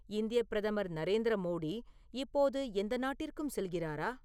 இந்தியப் பிரதமர் நரேந்திர மோடி இப்போது எந்த நாட்டிற்கும் செல்கிறாரா